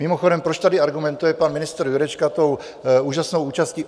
Mimochodem, proč tady argumentuje pan ministr Jurečka tou úžasnou účastí?